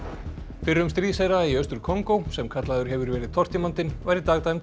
fyrrum stríðsherra í Austur Kongó sem kallaður hefur verið tortímandinn var í dag dæmdur